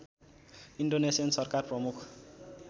Indonesian सरकार प्रमुख